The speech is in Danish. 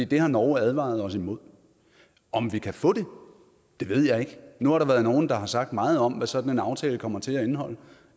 det har norge advaret os imod om vi kan få det ved jeg ikke nu har der været nogle der har sagt meget om hvad sådan en aftale kommer til at indeholde